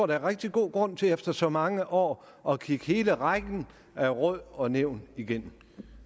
der er rigtig god grund til efter så mange år at kigge hele rækken af råd og nævn igennem